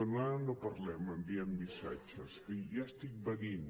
bé ara no parlem enviem missatges ja estic venint